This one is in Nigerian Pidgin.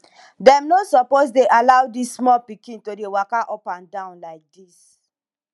dem no suppose dey allow dis small pikin to dey waka up and down like dis